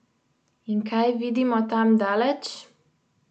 In kaj vidimo tam daleč?